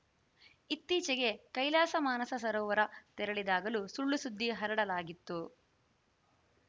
ಇತ್ತೀಚೆಗೆ ಕೈಲಾಸ ಮಾನಸ ಸರೋವರ ತೆರಳಿದಾಗಲೂ ಸುಳ್ಳುಸುದ್ದಿ ಹರಡಲಾಗಿತ್ತು